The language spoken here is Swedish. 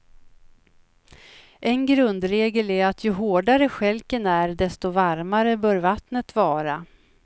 En grundregel är att ju hårdare stjälken är desto varmare bör vattnet vara.